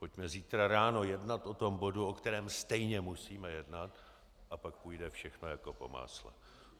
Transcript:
Pojďme zítra ráno jednat o tom bodu, o kterém stejně musíme jednat, a pak půjde všechno jako po másle.